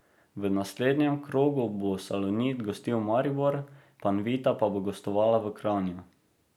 V naslednjem krogu bo Salonit gostil Maribor, Panvita pa bo gostovala v Kranju.